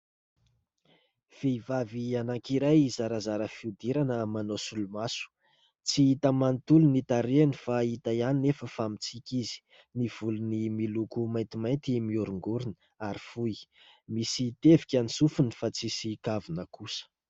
Vehivavy anankiray zarazara fihodirana manao solomaso. Tsy hita manontolo ny tarehiny fa hita ihany nefa fa mitsiky izy. Ny volony miloko maintimainty mihorongorona ary fohy. Misy tevika ny sofiny fa tsy misy kavina kosa.